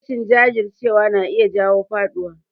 Rashin jajircewa na iya jawo faɗuwa